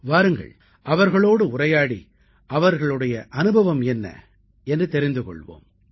வாருங்கள் அவர்களோடு உரையாடி அவர்களுடைய அனுபவம் என்ன என்று தெரிந்து கொள்வோம்